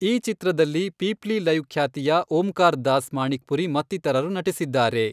ಈ ಚಿತ್ರದಲ್ಲಿ ಪೀಪ್ಲಿ ಲೈವ್ ಖ್ಯಾತಿಯ ಓಂಕಾರ್ ದಾಸ್ ಮಾಣಿಕ್ಪುರಿ ಮತ್ತಿತರರು ನಟಿಸಿದ್ದಾರೆ.